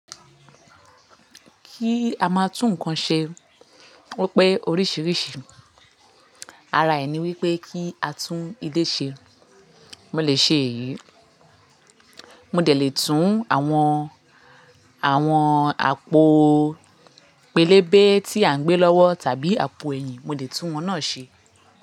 Kí a máa tún nǹkan ṣe obpé oríṣìíríṣìí. Ara ẹ ní wípé kí a tún ilé ṣe. Mo lè ṣe èyí. Mo dẹ́ lè tún àwọn, àwọn àpò pélébé tí à ń gbé lọ́wọ́ tàbí àpò ẹ̀yìn. Mo lè tún wón náà ṣe.